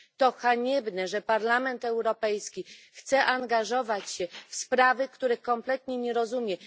To haniebne, że Parlament Europejski chce angażować się w sprawy, których kompletnie nie rozumie.